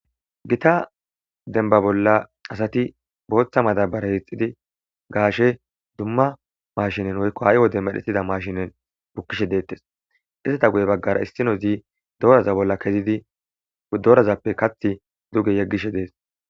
Gita denba bolla asati booththa madabara hixidi gaashe dumma mashinen woykko hay wode medhettida mashinen bukkishe deettes izata guye baggara issino zii dooraza bolla kezidi doorazappe kathi duge yeggishe dees